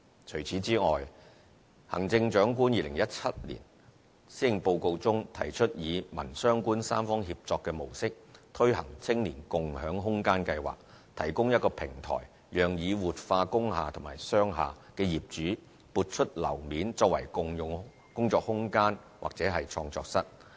除此之外，行政長官2017年施政報告中提出以民、商、官三方協作的模式推行"青年共享空間計劃"，提供一個平台讓已活化工廈和商廈的業主撥出樓面，作為共用工作空間或創作室。